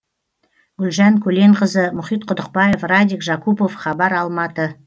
гүлжан көленқызы мұхит құдықбаев радик жакупов хабар алматы